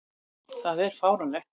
Það er fáránlegt.